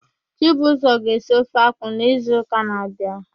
Chibuzọ ga-esi ofe akwụ n'izuụka na-abịa.